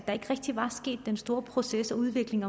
der ikke rigtig var sket den store proces og udvikling